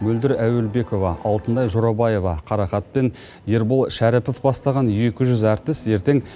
мөлдір әуелбекова алтынай жорабаева қарақат пен ербол шәріпов бастаған екі жүз әртіс ертең